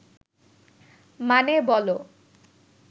মানে, বলো